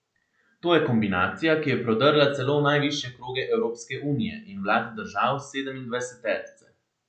To je kombinacija, ki je prodrla celo v najvišje kroge Evropske unije in vlad držav sedemindvajseterice.